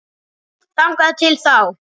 Þangað til þá.